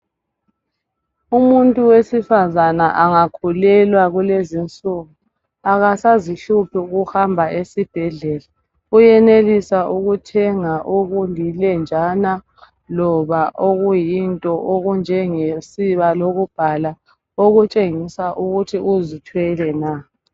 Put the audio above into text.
Umuntu wesifazana engakhulelwa lezinsuku kabasazihluphi kuhamba esibhedlela uyenelisa ukuthenga okulilenjana loba okuyinto okunjengo siba lokubhala okutshengisa ukuthi uzithwele